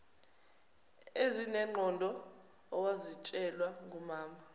ezinengqondo owazitshelwa ngumama